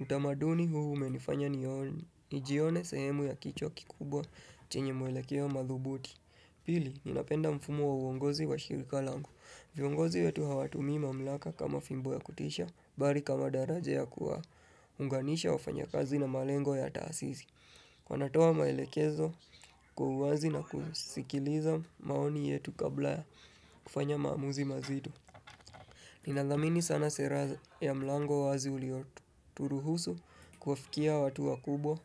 Utamaduni huu umenifanya nione. Nijione sehemu ya kichwa kikubwa chenye mwelekeo madhubuti. Pili, ninapenda mfumo wa uongozi wa shirika langu. Viongozi wetu hawatumi mamlaka kama fimbo ya kutisha, bali kama daraja ya kuwa unganisha wafanyakazi na malengo ya taasisi. Wanatoa maelekezo kwa uwazi na kusikiliza maoni yetu kabla ya kufanya maamuzi mazito. Ninadhamini sana sera ya mlango wazi ulioturuhusu kuafikia watu wa kubwa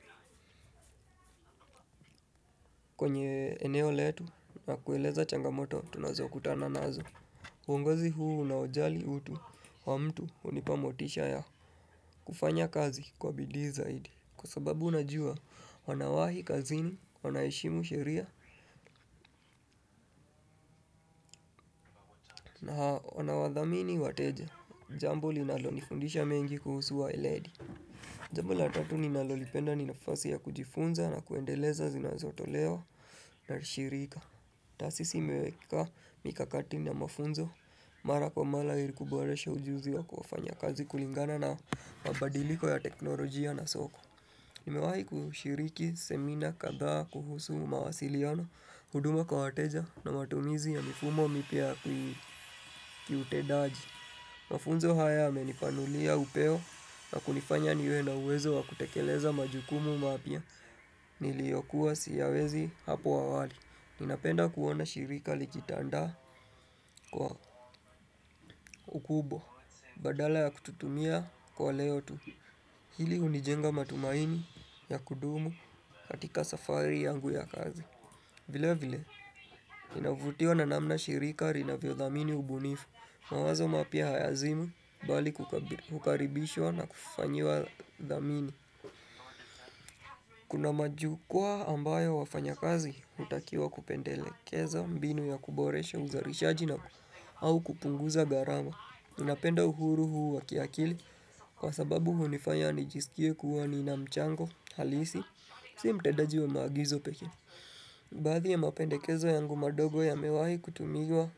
kwenye eneo letu na kueleza changamoto tunazokutana nazo. Uongozi huu unaojali utu wa mtu hunipa motisha ya kufanya kazi kwa bidii zaidi Kwa sababu unajua wanawahi kazini, wanaheshimu sheria na wanawadhamini wateja Jambo linalonifundisha mengi kuhusu wa eledi Jambo la tatu ninalolipenda ni nafasi ya kujifunza na kuendeleza zinazotoleo na shirika taasisi imeweka mikakati na mafunzo, mara kwa mara ili kuboresha ujuzi wa kufanya kazi kulingana na mabadiliko ya teknolojia na soko Nimewahi kushiriki, semina, kadhaa, kuhusu mawasiliano huduma kwa wateja na matumizi ya mifumo mipya kiutendaji Mafunzo haya yamenipanulia upeo na kunifanya niwe na uwezo wa kutekeleza majukumu mapya niliyokuwa siyawezi hapo awali Ninapenda kuona shirika likitandaa kwa ukubwa badala ya kututumia kwa leo tu Hili hunijenga matumaini ya kudumu katika safari yangu ya kazi. Vile vile, ninavutiwa na namna shirika linavyo dhamini ubunifu. Mawazo mapya hayazimwi, bali kukaribishwa na kufanyiwa dhamini. Kuna majukwa ambayo wafanyakazi, hutakiwa kupendelekeza mbinu ya kuboresha uzalishaji na au kupunguza gharama. Ninapenda uhuru huu wa kiakili kwa sababu hunifanya nijisikie kuwa nina mchango halisi Si mtendaji wa maagizo peke baadhi ya mapendekezo yangu madogo yamewahi kutumiwa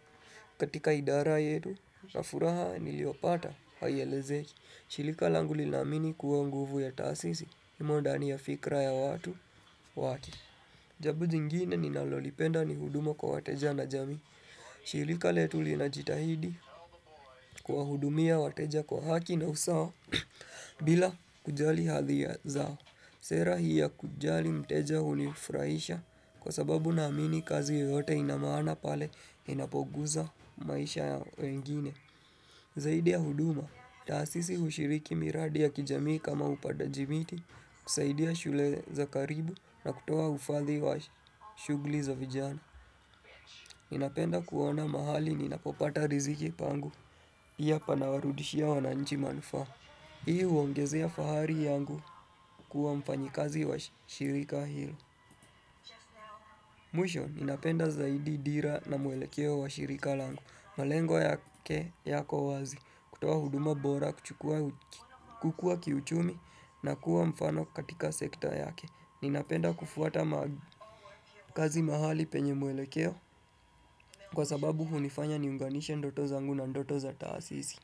katika idara yetu na furaha niliopata haielezeki shirika langu linaamini kuwa nguvu ya taasisi imo ndani ya fikra ya watu wake Jambo jingine ninalolipenda ni huduma kwa wateja na jamii shirika letu linajitahidi kuwahudumia wateja kwa haki na usawa bila kujali hadhia zao Sera hii ya kujali mteja hunifurahisha kwa sababu naamini kazi yoyote ina maana pale inapoguza maisha ya wengine Zaidi ya huduma, taasisi hushiriki miradi ya kijamii kama upandaji miti kusaidia shule za karibu na kutoa ufadhi wa shughuli za vijana Ninapenda kuona mahali ninapopata riziki pangu pia panawarudishia wananchi manufaa hiyo huongezea fahari yangu kuwa mfanyikazi wa shirika hilo Mwisho, ninapenda zaidi dira na mwelekeo wa shirika langu malengo yake yako wazi, kutoa huduma bora, kuchukua kukuwa kiuchumi na kuwa mfano katika sekta yake Ninapenda kufuata kazi mahali penye mwelekeo Kwa sababu hunifanya niunganishe ndoto zangu na ndoto za taasisi.